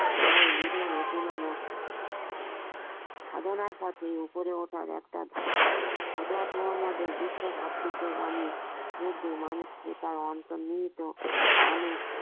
তবুও নিধন অতিমানব সাধনার পথে অপরে ওঠার একটা ধাপ হজরত মোহাম্মদের বিশ্বে ভাতৃত্বের বাণী একদিন মানুষকে তার অন্তর্নিহিত অনেক